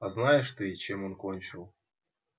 а знаешь ты чем он кончил